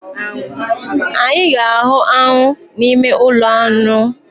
Anyị ga-ahụ aṅụ n’ime ụlọaṅụ